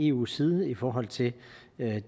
eus side i forhold til